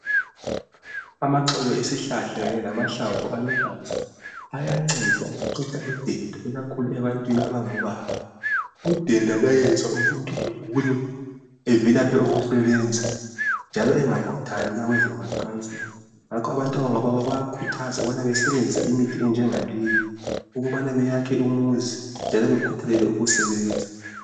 amaxolo esihlhla kanye lamahlamvu aluhlaza ayanceda ukuqeda denda ikakhulu ebantini abango baba u denda luyayenza umuntu egule evilaphe ukusebenza njalo engakhuthali ukuya kwezemacansini njalo abantu abangobaba bayakhuthzwa ukuba besebnzise imithi enjenga leyi ukubana beyakhe umuzi njalo bekhuthalele ukusebenza